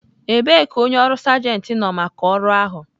Ebee ka onye ọrụ sergent nọ maka ọrụ ahụ?